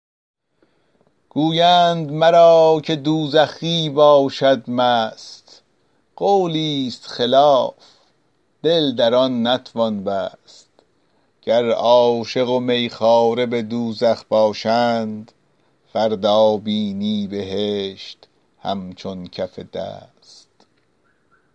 گویند مرا که دوزخی باشد مست قولی ست خلاف دل در آن نتوان بست گر عاشق و می خواره به دوزخ باشند فردا بینی بهشت همچون کف دست